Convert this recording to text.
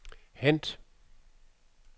hent